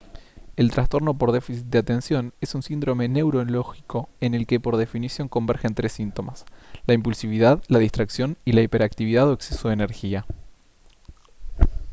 el trastorno por déficit de atención «es un síndrome neurológico en el que por definición convergen tres síntomas: la impulsividad la distracción y la hiperactividad o exceso de energía»